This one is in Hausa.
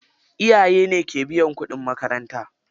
Iyaye ne ke biyan kuɗin makaranta.